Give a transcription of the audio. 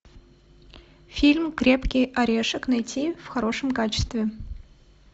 фильм крепкий орешек найти в хорошем качестве